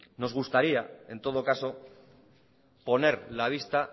nos gustaría en todo caso poner la vista